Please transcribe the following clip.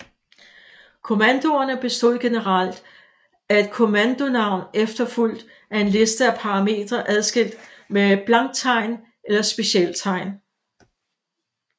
Kommandoerne bestod generelt af et kommandonavn efterfulgt af en liste af parametre adskilt med blanktegn eller specialtegn